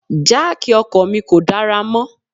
Jáákì ọkọ̀ mi kò dára mọ́.